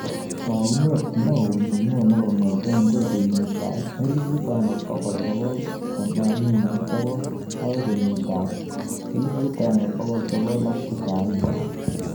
Taunet neyo nenywo kong'etegei kengit ab 1989 agoi kenyit ab 1990